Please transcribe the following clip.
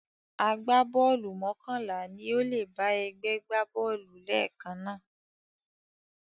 Agbábọ́ọ̀lù mọ́kànlá ni ó lè bá ẹgbẹ́ gbá bọ́ọ̀lù lẹ́ẹ̀kan náà